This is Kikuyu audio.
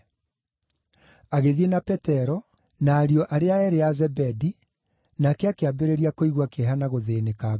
Agĩthiĩ na Petero, na ariũ arĩa eerĩ a Zebedi, nake akĩambĩrĩria kũigua kĩeha na gũthĩĩnĩka ngoro.